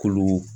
Kolo